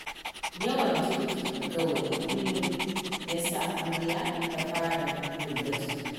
Yawan girki da gawayi kullum, ya sa amaryar ta fara yin baƙi.